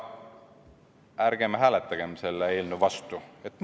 Ärgem hääletagem selle eelnõu vastu!